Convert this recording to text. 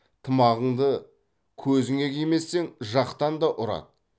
тымағыңды көзіңе кимесең жақтан да ұрады